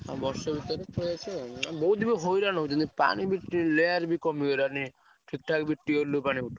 ଆଉ ବର୍ଷେ ଭିତରେ ଆସିବା ଆଉ ଆଉ ବହୁତ ଲୋକ ବି ହଇରାଣ ହଉଛନ୍ତି ପାଣି ବି layer ବି କମିଗଲାଣି totally tubewell ରୁ ପାଣି ଉଠଉନି।